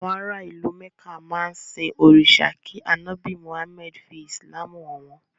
Àwọn ara ìlú Mẹ̀ká máa ń sin òrìṣà kí ànọ́bì Muhammad fí Ìsìlámù hàn wọ́n